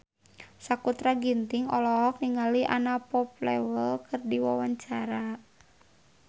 Sakutra Ginting olohok ningali Anna Popplewell keur diwawancara